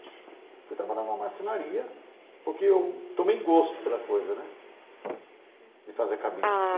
Fui trabalhar numa marcenaria porque eu tomei gosto pela coisa né de fazer cabide.